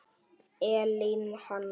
Elín Hanna.